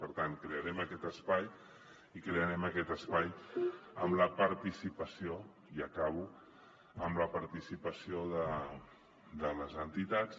per tant crearem aquest espai i crearem aquest espai amb la participació i acabo de les entitats